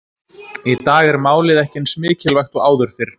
Í dag er málið ekki eins mikilvægt og áður fyrr.